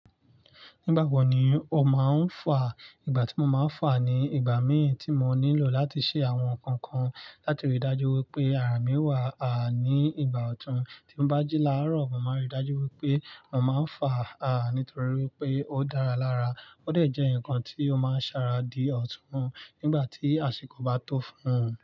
Nígbà wo ni o máa ń fà? Ìgbà tí mo máa ń fà ni ìgbà mí ì tí mo nílò láti ṣe àwọn nǹkan kan. Láti ríi dájú wípé ara mi wà a ní ìgbà ọ̀tun. Tí o bá jí láàárọ̀, mo máa ń ríi dájú wípé mo máa ń fà a nítorí wípé ó dára lára. Ó dẹ̀ jẹ́ ǹkan tí ó máa ń ṣàrà dí ọ̀tun nígbà tí àsìkò bá tó fún un.